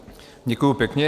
Děkuju pěkně.